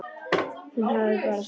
Hún hafði bara sagt satt.